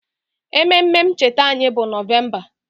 Ememe ncheta anyị bụ Nọvemba